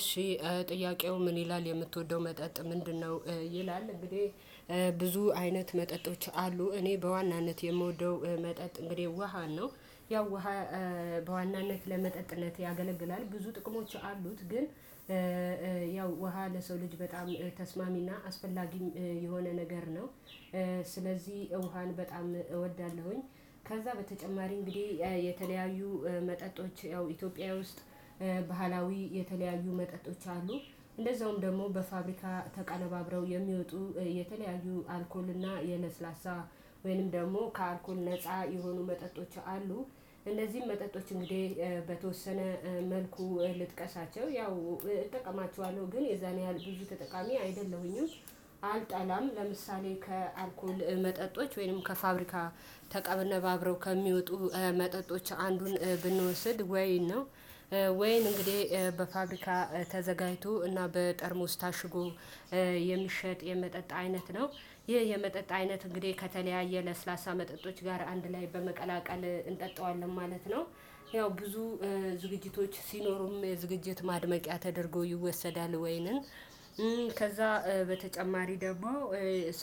እሺ ጥያቄው ምን ይላል የምትወደው መጠጥ ምንድነው? ይላል እንግዲህ ብዙ አይነት መጠጦች አሉ እኔ በዋናነት የምወደው መጠጥ እንግዲህ ውሃ ነው። ያው ውሃ በዋናነት ለመጠጥነት ያገለግላል ብዙ ጥቅሞች አሉት። ግን ያው ውሃ ለሰው ልጅ በጣም ተስማሚና አስፈላጊም የሆነ ነገር ነው። ስለዚህ ውሃን በጣም እወዳለሁኝ። ከዛ በተጨማሪ እንግዲህ የተለያዩ መጠጦች ያው ኢትዮጵያ ውስጥ ባህላዊ የተለያዩ መጠጦች አሉ። እንደዛውም ደግሞ በፋብሪካ ተቀነባብረው የሚወጡ የተለያዩ አልኮል እና የለስላሳ ወይም ደግሞ ከአልኮል ነፃ የሆኑ መጠጦች አሉ። እነዚህም መጠጦች እንግዲህ በተወሰነ መልኩ ልጥቀሳቸው ያው እጠቀማቸዋለሁ ግን የዛን ያህል ብዙ ተጠቃሚ አይደለሁኝም። አልጠላም ለምሳሌ ከአልኮል መጠጦች ወይም ከፋብሪካ ተቀነብባብረው ከሚወጡ መጠጦች አንዱን ብንወስድ ወይን ነው። ወይን እንግዲህ በፋብሪካ ተዘጋጅቶ እና በጠርሙስ ታሽጎ የሚሸጥ የመጠጥ አይነት ነው። ይህ የመጠጥ አይነት እንግዲህ ከተለያየ ለስላሳ መጠጦች ጋር አንድ ላይ በመቀላቀል እንጠጣዋለን ማለት ነው። ያው ብዙ ዝግጅቶች ሲኖሩም ዝግጅት ማድመቂያ ተደርጎ ይወሰዳል ወይንም። ከዛ በተጨማሪ ደግሞ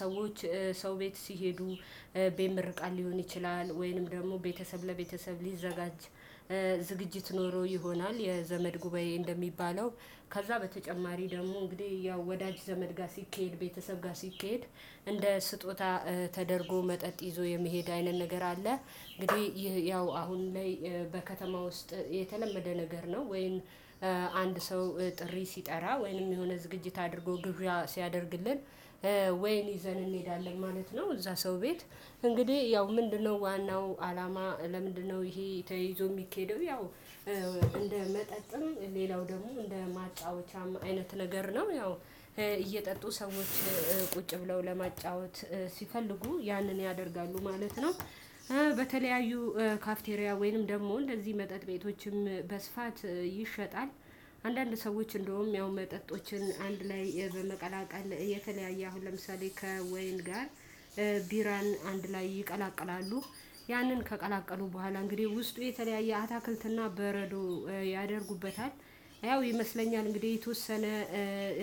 ሰዎች ሰው ቤት ሲሄዱ ቢምርቃል ሊሆን ይችላል። ወይንም ደግሞ ቤተሰብ ለቤተሰብ ሊዘጋጅ ዝግጅት ኖሮ ይሆናል። የዘመድ ጉባኤ እንደሚባለው ከዛ በተጨማሪ ደግሞ እንግዲህ ያው ወዳጅ ዘመድ ጋር ሲኬድ ቤተሰብ ጋር ሲኬድ እንደ ስጦታ ተደርጎ መጠጥ ይዞ የመሄድ አይነት ነገር አለ። እንግዲህ ያው አሁን ላይ በከተማ ውስጥ የተለመደ ነገር ነው ወይም አንድ ሰው ጥሪ ሲጠራ ወይንም የሆነ ዝግጅት አድርጎ ግብዣ ሲያደርግልን ወይን ይዘን እንሄዳለን ማለት ነው። እዛ ሰው ቤት እንግዲህ ያው ምንድነው ዋናው አላማ ለምንድነው ይሄ ተይዞ የሚኬደው? ያው እንደ መጠጥም ሌላው ደግሞ እንደ ማጫወቻም አይነት ነገር ነው። ያው እየጠጡ ሰዎች ቁጭ ብለው ለማጫወት ሲፈልጉ ያንን ያደርጋሉ ማለት ነው። በተለያዩ ካፍቴሪያ ወይንም ደግሞ እንደዚህ መጠጥ ቤቶችም በስፋት ይሸጣል። አንዳንድ ሰዎች እንደውም ያው መጠጦችን አንድ ላይ በመቀላቀል የተለያየ አሁን ለምሳሌ ከወይን ጋር ቢራን አንድ ላይ ይቀላቀላሉ። ያንን ከቀላቀሉ በኋላ እንግዲህ ውስጡ የተለያየ አትክልትና በረዶ ያደርጉበታል። ያው ይመስለኛል እንግዲህ የተወሰነ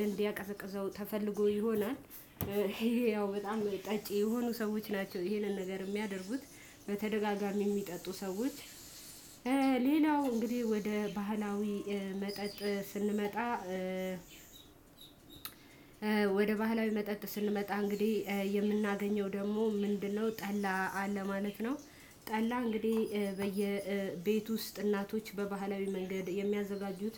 እንዲያቀዘቅዘው ተፈልጎ ይሆናል። ይሄ ያው በጣም ጠጪ የሆኑ ሰዎች ናቸው ይሄንን ነገር የሚያደርጉት። በተደጋጋሚ የሚጠጡ ሰዎች ሌላው እንግዲህ ወደ ባህላዊ መጠጥ። ባህላዊ መጠጥ ስንመጣ እንግዲህ የምናገኘው ደግሞ ምንድነው ጠላ ለማለት ነው። ጠላ እንግዲህ በየቤት ውስጥ እናቶች በባህላዊ መንገድ የሚያዘጋጁት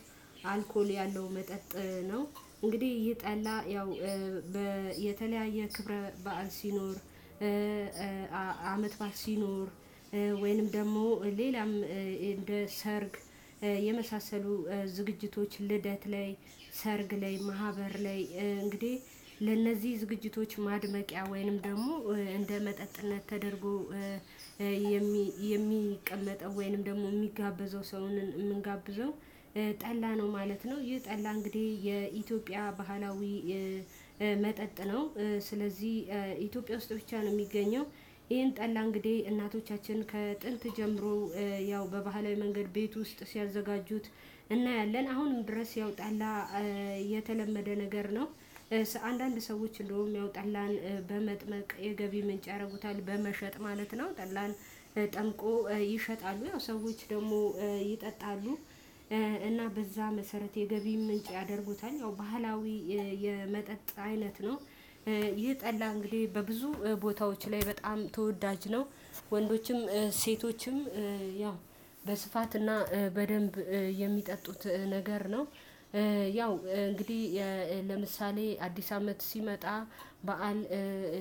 አልኮል ያለው መጠጥ ነው። እንግዲህ ይህ ጠላ ያው የተለያየ ክብረ በዓል ሲኖር። ባል ሲኖር ወይንም ደግሞ ሌላም እንደ ሰርግ የመሳሰሉ ዝግጅቶች ልደት ላይ ሰርግ ላይ ማህበር ላይ እንግዲህ ለእነዚህ ዝግጅቶች ማድመቂያ ወይንም ደግሞ እንደ መጠጥነት ተደርጎ የሚቀመጠው ወይንም ደግሞ የሚጋበዘው ሰውን የምንጋብዘው ጠላ ነው ማለት ነው። ይህ ጠላ እንግዲህ የኢትዮጵያ ባህላዊ መጠጥ ነው። ስለዚህ ኢትዮጵያ ውስጥ ብቻ ነው የሚገኘው። ይሄን ጠላ እንግዲህ እናቶቻችንን ከጥንት ጀምሮ ያው በባህላዊ መንገድ ቤት ውስጥ ሲያዘጋጁት። እናያለን አሁንም ድረስ ያው ጠላ የተለመደ ነገር ነው። አንዳንድ ሰዎች እንደውም ያው ጠላን በመጥመቅ የገቢ ምንጭ ያደርጉታል በመሸጥ ማለት ነው። ጠላን ጠምቆ ይሸጣሉ ያው ሰዎች ደግሞ ይጠጣሉ። እና በዛ መሰረት የገቢ ምንጭ ያደርጉታል። ያው ባህላዊ የመጠጥ አይነት ነው። ይህ ጠላ እንግዲህ በብዙ ቦታዎች ላይ በጣም ተወዳጅ ነው። ወንዶችም ሴቶችም ያው በስፋትና በደንብ የሚጠጡት ነገር ነው። ያው እንግዲህ ለምሳሌ አዲስ አመት ሲመጣ በዓል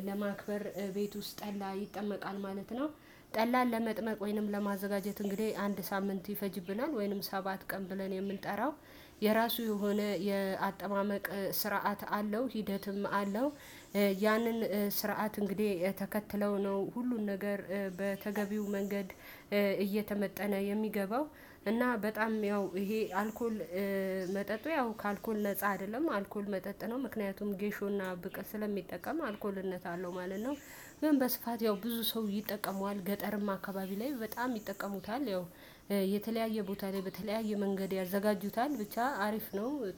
ለማክበር ቤት ውስጥ ጠላ ይጠመቃል ማለት ነው። ጠላን ለመጥመቅ ወይንም ለማዘጋጀት እንግዲህ አንድ ሳምንት ይፈጅብናል ወይንም ሰባት ቀን ብለን የምንጠራው የራሱ የሆነ የአጥማመቅ ስርዓት አለው። ሂደትም አለው። ያንን ስርዓት እንግዲህ ተከትለው ነው ሁሉን ነገር በተገቢው መንገድ እየተመጠነ የሚገባው። እና በጣም ያው ይሄ አልኮል መጠጡ ያው ከአልኮል ነፃ አይደለም አልኮል መጠጥ ነው። ምክንያቱም ጌሾና ብቅል ስለሚጠቀም አልኮልነት አለው ማለት ነው። ወይም በስፋት ያው ብዙ ሰው ይጠቀመዋል ገጠርም አካባቢ ላይ በጣም ይጠቀሙታል። ያው የተለያየ ቦታ ላይ በተለያየ መንገድ ያዘጋጁታል። ብቻ አሪፍ ነው